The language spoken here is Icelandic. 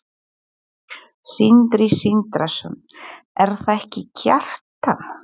Sindri Sindrason: Er það ekki Kjartan?